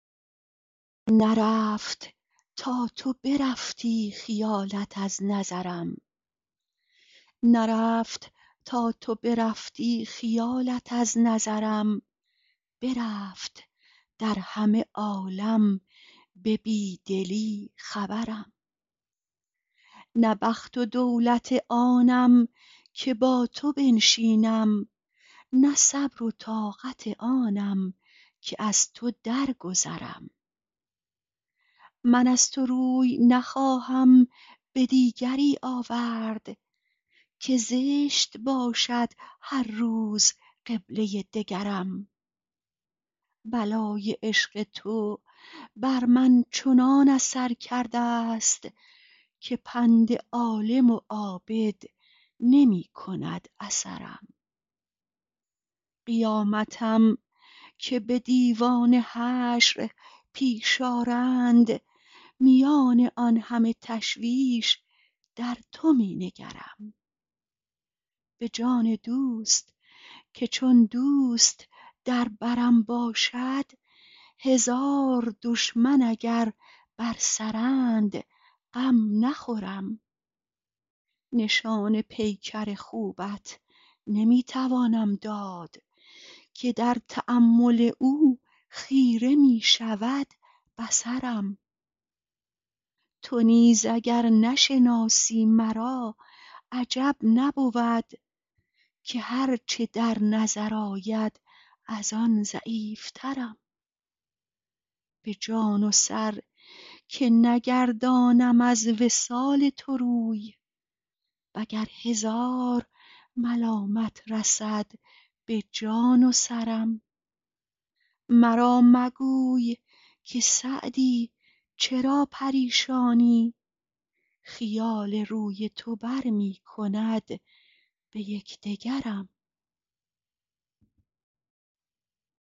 نرفت تا تو برفتی خیالت از نظرم برفت در همه عالم به بی دلی خبرم نه بخت و دولت آنم که با تو بنشینم نه صبر و طاقت آنم که از تو درگذرم من از تو روی نخواهم به دیگری آورد که زشت باشد هر روز قبله دگرم بلای عشق تو بر من چنان اثر کرده ست که پند عالم و عابد نمی کند اثرم قیامتم که به دیوان حشر پیش آرند میان آن همه تشویش در تو می نگرم به جان دوست که چون دوست در برم باشد هزار دشمن اگر بر سرند غم نخورم نشان پیکر خوبت نمی توانم داد که در تأمل او خیره می شود بصرم تو نیز اگر نشناسی مرا عجب نبود که هر چه در نظر آید از آن ضعیفترم به جان و سر که نگردانم از وصال تو روی و گر هزار ملامت رسد به جان و سرم مرا مگوی که سعدی چرا پریشانی خیال روی تو بر می کند به یک دگرم